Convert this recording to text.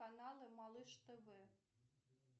каналы малыш тв